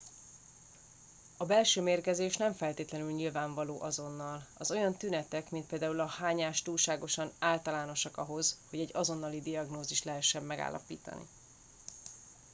a belső mérgezés nem feltétlenül nyilvánvaló azonnal az olyan tünetek mint például a hányás túlságosan általánosak ahhoz hogy egy azonnali diagnózist lehessen megállapítani